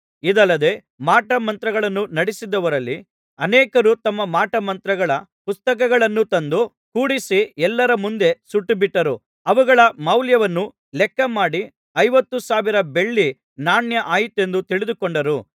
ಇದಲ್ಲದೆ ಮಾಟ ಮಂತ್ರಗಳನ್ನು ನಡಿಸಿದವರಲ್ಲಿ ಅನೇಕರು ತಮ್ಮ ಮಾಟಮಂತ್ರಗಳ ಪುಸ್ತಕಗಳನ್ನು ತಂದು ಕೂಡಿಸಿ ಎಲ್ಲರ ಮುಂದೆ ಸುಟ್ಟುಬಿಟ್ಟರು ಅವುಗಳ ಮೌಲ್ಯವನ್ನು ಲೆಕ್ಕಮಾಡಿ ಐವತ್ತು ಸಾವಿರ ಬೆಳ್ಳಿ ನಾಣ್ಯ ಆಯಿತೆಂದು ತಿಳಿದುಕೊಂಡರು